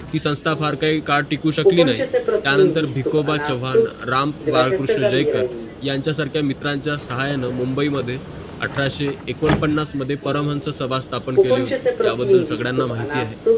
ती संस्था फार काही काळ टिकू शकली नाही त्या नंतर भिकोबा चव्हाण रामबाळक्रुष्ण जयकर याचा सारख्या मित्रांचा साहाय्याने मुंबई मध्ये अठराशे एकोणपन्नास मध्ये परमन्स संस्था स्थापन केली होती या बदल सगड्याना आहे